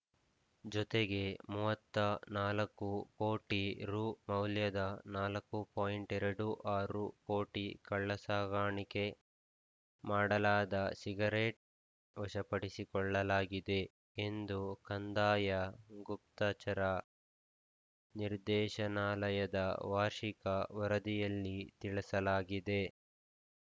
ಜೊತೆಗೆ ಮೂವತ್ತ ನಾಲ್ಕು ಕೋಟಿ ರುಮೌಲ್ಯದ ನಾಲ್ಕು ಪಾಯಿಂಟ್ ಎರಡು ಆರು ಕೋಟಿ ಕಳ್ಳಸಾಗಣೆ ಮಾಡಲಾದ ಸಿಗರೆಟ್‌ ವಶಪಡಿಸಿಕೊಳ್ಳಲಾಗಿದೆ ಎಂದು ಕಂದಾಯ ಗುಪ್ತಚರ ನಿರ್ದೇಶನಾಲಯದ ವಾರ್ಷಿಕ ವರದಿಯಲ್ಲಿ ತಿಳಿಸಲಾಗಿದೆ